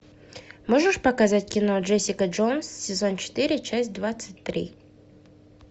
можешь показать кино джессика джонс сезон четыре часть двадцать три